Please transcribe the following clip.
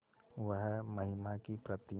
वह महिमा की प्रतिमा